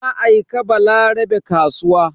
Na aika Balarabe kasuwa.